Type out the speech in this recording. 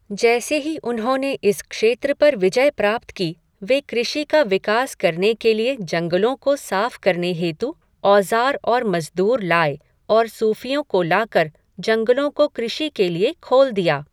जैसे ही उन्होंने इस क्षेत्र पर विजय प्राप्त की, वे कृषि का विकास करने के लिए जंगलों को साफ़ करने हेतु औज़ार और मज़दूर लाए और सूफ़ियों को लाकर जंगलों को कृषि के लिए खोल दिए।